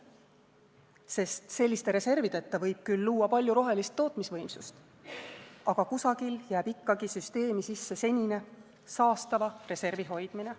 Sest selliste reservideta võib küll luua palju rohelist tootmisvõimsust, aga kusagil jääb ikkagi süsteemi sisse senine, saastava reservi hoidmine.